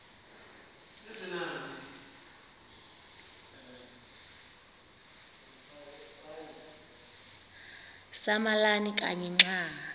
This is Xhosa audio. samalama kanye xa